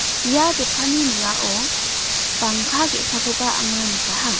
ia dokkani ning·ao bangka ge·sakoba ang·a nikaha.